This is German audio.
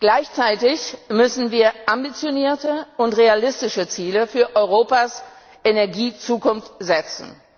Gleichzeitig müssen wir ambitionierte und realistische Ziele für Europas Energiezukunft setzen.